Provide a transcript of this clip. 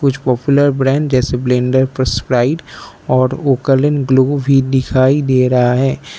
Popular brand जैसे blender first flight और oaken blue भी दिखाई दे रहा है।